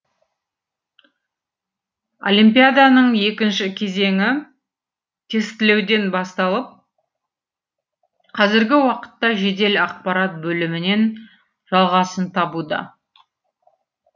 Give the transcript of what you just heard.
олимпиаданың екінші кезеңі тестілеуден басталып қазіргі уақытта жедел ақпарат бөлімінен жалғасын табуда